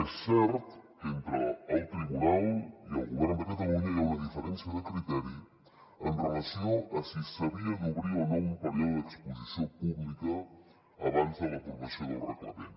és cert que entre el tribunal i el govern de catalunya hi ha una diferència de criteri amb relació a si s’havia d’obrir o no un període d’exposició pública abans de l’aprovació del reglament